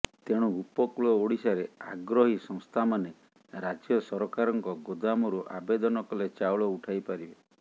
ତେଣୁ ଉପକୂଳ ଓଡିଶାରେ ଆଗ୍ରହୀ ସଂସ୍ଥାମାନେ ରାଜ୍ୟ ସରକାରଙ୍କ ଗୋଦାମରୁ ଆବେଦନ କଲେ ଚାଉଳ ଉଠାଇ ପାରିବେ